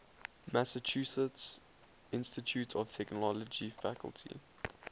massachusetts institute of technology faculty